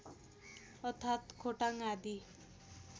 अर्थात् खोटाङ आदि